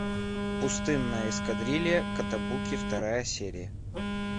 пустынная эскадрилья котобуки вторая серия